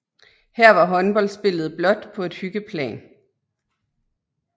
Her var fodboldspillet blot på et hyggeplan